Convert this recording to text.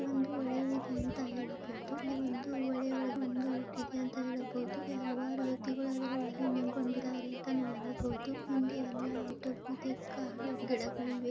ಇಲ್ಲಿ ಒಂದು ಹೊಳೆ ಇದೆ ಅಂತ ಹೇಳಬಹುದು ಹೊಳೆಯಲ್ಲಿ ಹಲವಾರು ವ್ಯಕ್ತಿಗಳು ನಿಂತಿದ್ದಾರೆ ಅಂತಾನೂ ಹೇಳಬಹುದು ಹಿಂದೆ ಹಲವಾರು ಗಿಡ ಮರ ಕಾಡುಗಳು ಇವೆ ಅಂತಾನೂ ಹೇಳಬಹುದು .